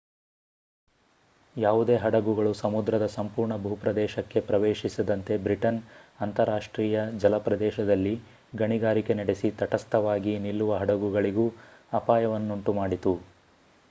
ಯಾವುದೇ ಹಡಗುಗಳು ಸಮುದ್ರದ ಸಂಪೂರ್ಣ ಭೂಪ್ರದೇಶಕ್ಕೆ ಪ್ರವೇಶಿಸದಂತೆ ಬ್ರಿಟನ್ ಅಂತರರಾಷ್ಟ್ರೀಯ ಜಲಪ್ರದೇಶದಲ್ಲಿ ಗಣಿಗಾರಿಕೆ ನಡೆಸಿ ತಟಸ್ಥವಾಗಿ ನಿಲ್ಲುವ ಹಡಗುಗಳಿಗೂ ಅಪಾಯವನ್ನುಂಟುಮಾಡಿತು